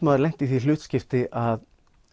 maður lent í því hlutskipti að